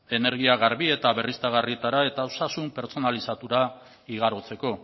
energia garbi eta berriztagarrietara eta osasun pertsonalizatura igarotzeko